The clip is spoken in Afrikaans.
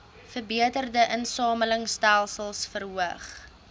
verbeterde insamelingstelsels verhoog